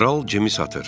Kral Cemi satır.